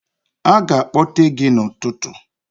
Aga akpọte gị n'ụtụtụ.